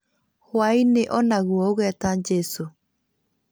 Hwaĩ-inĩ o naguo ũgeta jesũ